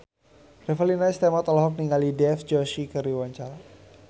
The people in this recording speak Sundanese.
Revalina S. Temat olohok ningali Dev Joshi keur diwawancara